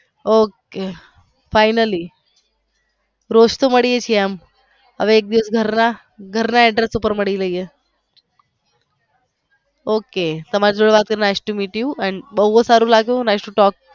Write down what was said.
ok finally રોજ તો મલી છીએ હવે એક દિવસ ઘર ના address ઉપર મલીયે ok તમારી જોડે nice to meet you અને બોવ જ સારું લાગ્યું nice to talk